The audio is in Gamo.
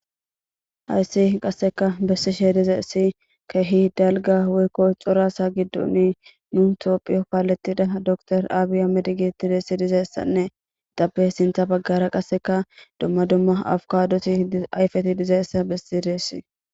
Hayssi qasseka bessi shee diza ssi keehi dalga woykko corasa giddoni nu toophiyo paalettida dokor aabiya med giti deessi dizayessanne ixappe sintha baggara qasseka dumma dumma awukadosi ayfeti dizaessa bessi deessi